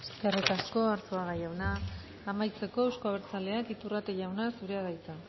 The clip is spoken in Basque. eskerrik asko arzuaga jauna amaitzeko euzko abertzaleak iturrate jauna zurea da hitza